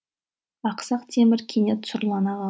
ақсақ темір кенет сұрлана